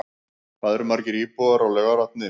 Hvað eru margir íbúar á Laugarvatni?